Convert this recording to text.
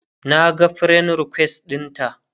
Naga friend request ɗinta